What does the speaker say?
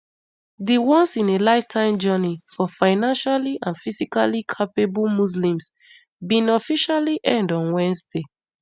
di once in a lifetime journey for financially and physically capable muslims bin officially end on wednesday